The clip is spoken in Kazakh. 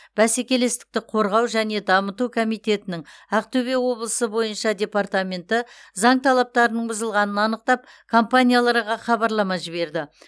бәсекелестікті қорғау және дамыту комитетінің ақтөбе облысы бойынша департаменті заң талаптарының бұзылғанын анықтап компанияларға хабарлама жіберді